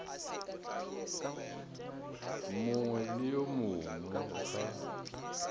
mongwe le yo mongwe ga